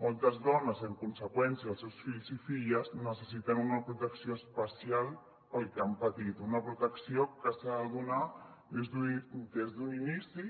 moltes dones i en conseqüència els seus fills i filles necessiten una protecció especial pel que han patit una protecció que s’ha de donar des d’un inici